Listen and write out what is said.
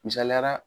Misaliyara